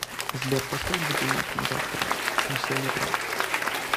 сбер поставь будильник на завтра на семь утра